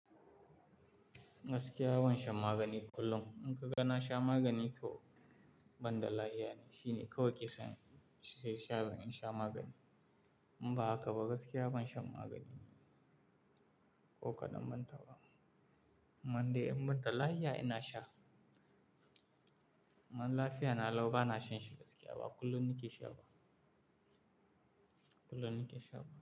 Gaskiya ban shan magani kullum, in ka ga na sha magani to ban da lafiya ne, shine kawai ke sani in sha magani. In ba haka ba gaskiya ban shan magani ko kaɗan ban taɓa. Ammande in ban da lafiya ina sha. Amman lafiya na lau ba na shan shi gaskiya ba, kullum nake sha ba. Kullum nake sha ba.